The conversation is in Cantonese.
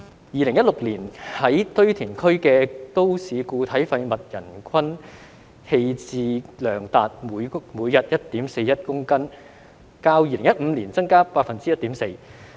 2016年在堆填區的都市固體廢物人均棄置量達每日 1.41 公斤，較2015年增加 1.4%。